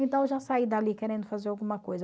Então eu já saí dali querendo fazer alguma coisa.